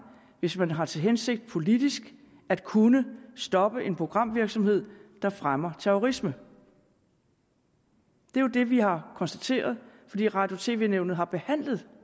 hvis man har til hensigt politisk at kunne stoppe en programvirksomhed der fremmer terrorisme det er jo det vi har konstateret fordi radio og tv nævnet har behandlet